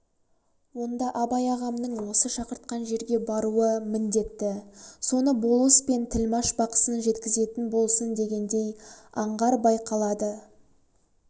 онда абай ағамның осы шақыртқан жерге баруы міндетті соны болыс пен тілмаш бақсын жеткізетін болсын дегендей аңғар байқалады